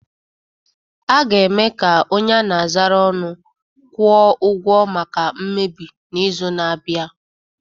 A ga-eme ka onye a na-azara ọnụ kwụọ ụgwọ maka mmebi n'izu na-abịa